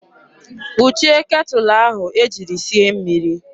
Kpuchie ketụlụ ahụ e jiri sie mmiri!